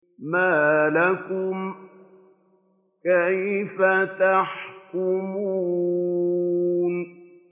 مَا لَكُمْ كَيْفَ تَحْكُمُونَ